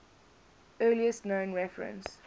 earliest known reference